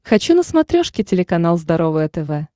хочу на смотрешке телеканал здоровое тв